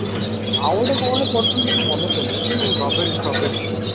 ଆଉ ଗୋଟେ କଣ ଗୋଟେ କରିଥିଲୁ ମୋର ମାନେ ପଡୁନି ଏଇ ଯୋଉ କଣ